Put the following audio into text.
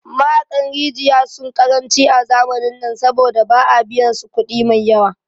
Mahaƙan rijaya sun ƙaranci a zamanin nan saboda ba a biyan su kudi maiyawa